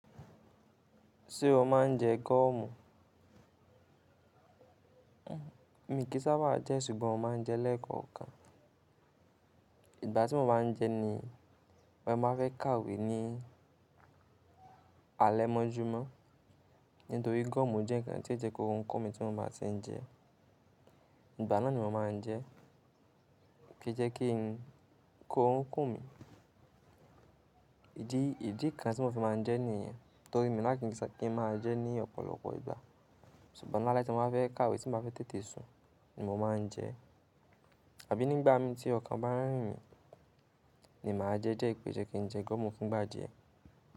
Ṣé o máa ń jẹ gọ́ọ̀mù? Mi kì í sábà jẹ́ ṣùgbọ́n mo máa ń jẹ lẹ́ẹ̀kan kan. Ìgbà tí mo bá ń jẹ ni mo máa fẹ́ kàwé ní alẹ́ mọ́júmọ́. Nítorí gọ́ọ̀mù jẹ́ ǹkan tí ó jẹ kó ó ń kún mi tí mo bá ti ń jẹ. Ìgbà náà ni mo máa ń jẹ kí jẹ́ kí orun kún mi ìdí kan tí mo fi máa ń jẹ níyẹn. Nítorí mi lákin kí n máa jẹ ní ọ̀pọ̀lọpọ̀ ìgbà. Ṣùgbọ́n ní alẹ́ tí mo bá fẹ́ kàwé tí mo bá fẹ́ tẹ́te sùn ní mo máa ń jẹ. Àbí nígbà mi tí ọkàn bá ń rìn mí ni màá jẹ die, ìpè je kí n jẹ gọ́ọ̀mù fun gbà diẹ.